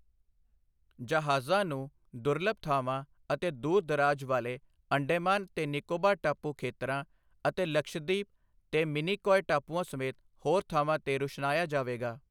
ਜਹਾਜ਼ਾਂ ਨੂੰ ਦੁਰਲਭ ਥਾਵਾਂ ਅਤੇ ਦੂਰ ਦਰਾਜ ਵਾਲੇ ਅੰਡੇਮਾਨ ਤੇ ਨਿਕੋਬਾਰ ਟਾਪੂ ਖੇਤਰਾਂ ਅਤੇ ਲਕਸ਼ਦੀਪ ਤੇ ਮਿਨੀਕੌਇ ਟਾਪੂਆਂ ਸਮੇਤ ਹੋਰ ਥਾਵਾਂ ਤੇ ਰੁਸ਼ਨਾਇਆ ਜਾਵੇਗਾ।